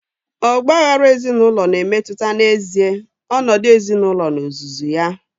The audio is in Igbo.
Ọgba aghara ezinaụlọ na-emetụta n'ezie ọnọdụ ezinaụlọ n'ozuzu ya.